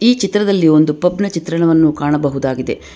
ಚಿತ್ರದಲ್ಲಿ ಒಂದು ಪಬ್ ನ ಚಿತ್ರಣವನ್ನು ಕಾಣಬಹುದಾಗಿದೆ.